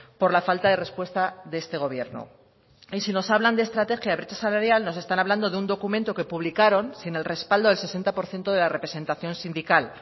por la falta de respuesta de este gobierno y si nos hablan de estrategia de brecha salarial nos están hablando de un documento que publicaron sin el respaldo del sesenta por ciento de la representación sindical